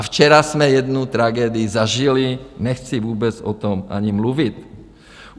A včera jsme jednu tragédii zažili, nechci vůbec o tom ani mluvit.